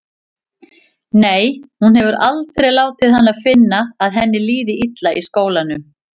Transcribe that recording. Nei, hún hefur aldrei látið hana finna að henni líði illa í skólanum.